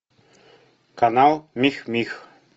канал мих мих